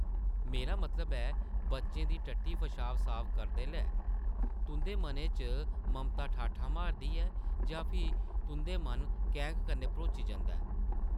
‘‘मेरा मतलब ऐ, बच्चें दी टट्टी पशाब साफ करदे’लै तुंʼदे मनै च ममता ठाठां मारदी ऐ जां फ्ही तुंʼदा मन कैंह्क कन्नै भरोची जंदा ऐ ?’’